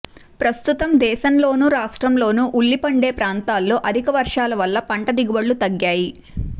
ప్రస్తుతం దేశంలోనూ రాష్ట్రంలోనూ ఉల్లి పండే ప్రాంతాల్లో అధిక వర్షాల వల్ల పంట దిగుబడులు తగ్గాయి